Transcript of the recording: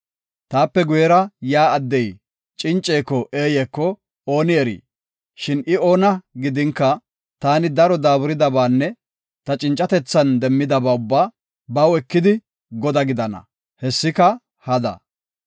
Taape guyera yaa addey cinceko eeyeko ooni erii? Shin I oona gidinka, taani daro daaburidabaanne ta cincatethan demmidaba ubbaa baw ekidi, godaa gidana; hessika hada.